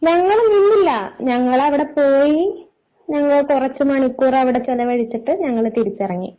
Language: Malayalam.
ഞങ്ങൾ നിന്നില്ല ഞങ്ങൾ അവിടെ പോയി ഞങ്ങള് കുറച്ചു മണിക്കൂർ അവിടെ ചിലവഴിച്ചിട്ട് ഞങ്ങൾ തിരിച്ചിറങ്ങി.